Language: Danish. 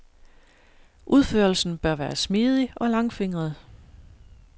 Udførelsen bør være smidig og langfingret.